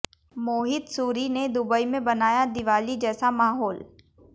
मोहित सूरी ने दुबई में बनाया दीवाली जैसा माहौल